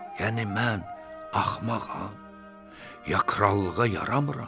Yəni mən axmağam, ya krallığa yaramıram.